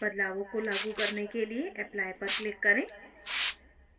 बदलावों को लागू करने के लिए apply पर click करें